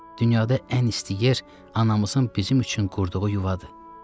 Dünyada ən isti yer anamızın bizim üçün qurduğu yuvadır.